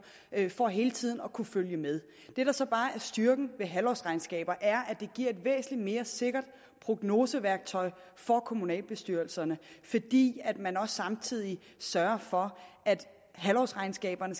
for hele tiden at kunne følge med det der så bare er styrken ved halvårsregnskaber er at de giver et væsentligt mere sikkert prognoseværktøj for kommunalbestyrelserne fordi man også samtidig sørger for at halvårsregnskaberne